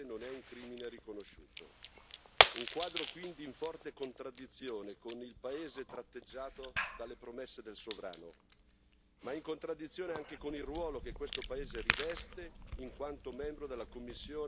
Un quadro, quindi, in forte contraddizione con il paese tratteggiato dalle promesse del sovrano, ma in contraddizione anche con il ruolo che questo paese riveste in quanto membro della commissione sullo status delle donne alle Nazioni Unite.